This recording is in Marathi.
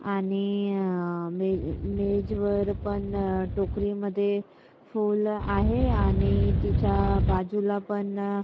आणि अ मेज वर पण अ टोकरी मध्ये फूल आहे आणि तिच्या बाजूला पण--